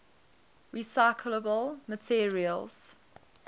recyclable materials